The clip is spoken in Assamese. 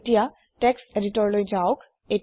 এতিয়া টেক্সট এদিতৰলৈ যাওক